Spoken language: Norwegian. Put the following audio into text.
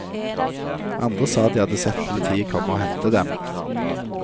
Andre sa de hadde sett politiet komme og hente dem.